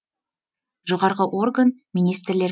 жоғарғы орган министрлер